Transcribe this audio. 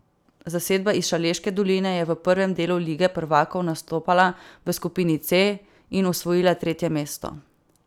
Zasedba iz Šaleške doline je v prvem delu lige prvakov nastopala v skupini C in osvojila tretje mesto.